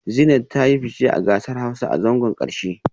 Zeenat ta yi fice a kasar Hausa a zangon karshe